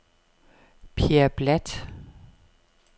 Pierre Bladt